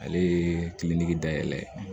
Ale ye dayɛlɛ